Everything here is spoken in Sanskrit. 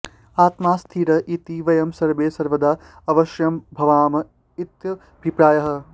आत्मा स्थिरः इति वयं सर्वे सर्वदा अवश्यं भवामः इत्यभिप्रायः